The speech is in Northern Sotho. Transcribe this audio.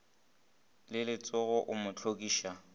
le letsogo o mo hlokiša